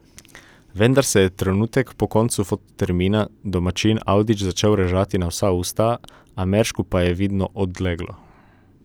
Vendar se je trenutek po koncu fototermina domačin Avdić začel režati na vsa usta, Ameršku pa je vidno odleglo.